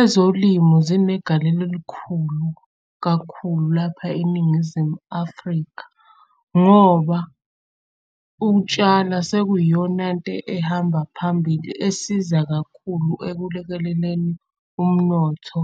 Ezolimo zinegalelo elikhulu kakhulu lapha eNingizimu Afrika ngoba ukutshala sekuyiyonanto ehamba phambili esiza kakhulu ekulekeleleni umnotho